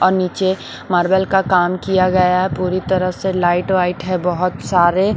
और नीचे मार्बल का काम किया गया है पूरी तरह से लाइट वाइट है बहुत सारे।